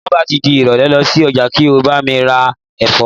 ti o ba ti di irole, losi oja ki o lo ba mi ra efo